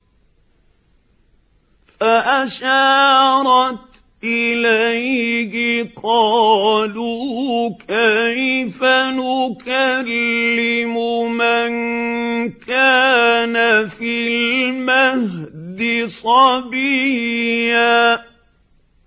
فَأَشَارَتْ إِلَيْهِ ۖ قَالُوا كَيْفَ نُكَلِّمُ مَن كَانَ فِي الْمَهْدِ صَبِيًّا